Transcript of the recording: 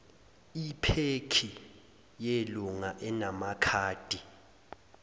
iphekhi yelunga enamakhadi